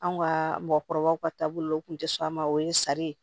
Anw ka mɔgɔkɔrɔbaw ka taabolow tun tɛ sɔn a ma o ye sari ye